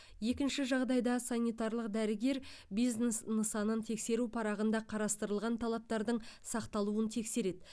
екінші жағдайда санитарлық дәрігер бизнес нысанын тексеру парағында қарастырылған талаптардың сақталуын тексереді